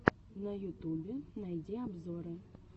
на ютубе найди обзоры